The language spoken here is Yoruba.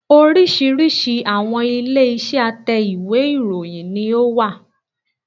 Oríṣìíríṣìí àwọn ilé iṣẹ́ a tẹ́ ìwé ìròyìn ni ó wà